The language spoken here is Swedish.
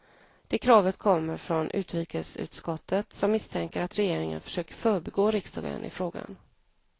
Det kravet kommer från utrikesutskottet, som misstänker att regeringen försöker förbigå riksdagen i frågan.